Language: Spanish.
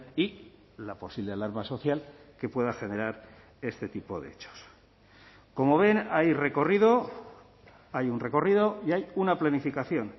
y la posible alarma social que pueda generar este tipo de hechos como ven hay recorrido hay un recorrido y hay una planificación